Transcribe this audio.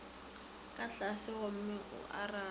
ka tlase gomme o arabe